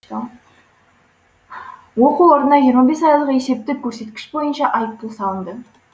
оқу орнына жиырма бес айлық есептік көрсеткіш бойынша айыппұл салынды